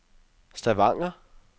Stavanger